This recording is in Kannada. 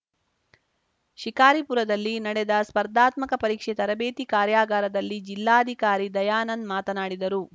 ಶಿಕಾರಿಪುರದಲ್ಲಿ ನಡೆದ ಸ್ಪರ್ದಾತ್ಮಕ ಪರೀಕ್ಷೆ ತರಬೇತಿ ಕಾರ್ಯಾಗಾರದಲ್ಲಿ ಜಿಲ್ಲಾಧಿಕಾರಿ ದಯಾನಂದ್‌ ಮಾತನಾಡಿದರು